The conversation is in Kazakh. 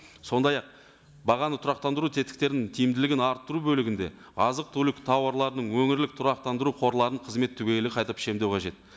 сондай ақ бағаны тұрақтандыру тетіктерін тиімділігін арттыру бөлігінде азық түлік тауарларының өңірлік тұрақтандыру қорларын қызметі түгелі қайта пішіндеу қажет